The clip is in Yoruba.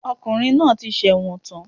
Ọkùnrin náà ti sẹ̀wọ̀n tán